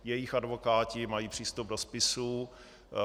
Jejich advokáti mají přístup do spisů.